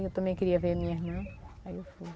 Eu também queria ver a minha irmã, aí eu fui.